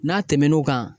N'a tɛmɛn'o kan